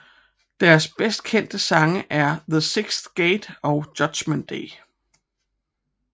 Deres bedst kendte sange er The 6th Gate og Judgement Day